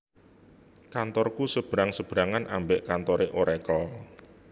Kantorku sebrang sebrangan ambek kantore Oracle